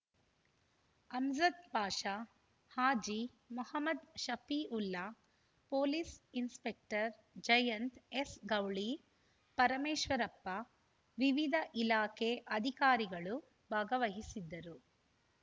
Amjad ಪಾಷಹಾಜಿ Mohammed ಷಪಿವುಲ್ಲಾ police inspector Jayant ಎಸ್‌ಗೌಳಿ Parameshwarappa ವಿವಿಧ ಇಲಾಖೆ ಅಧಿಕಾರಿಗಳು ಭಾಗವಹಿಸಿದ್ದರು